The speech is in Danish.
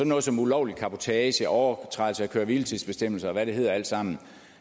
noget som ulovlig cabotage overtrædelse af køre hvile tids bestemmelser og hvad det hedder alt sammen